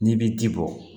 N'i bi ji bɔ